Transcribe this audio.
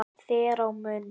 þér á munn